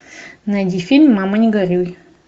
найди фильм мама не горюй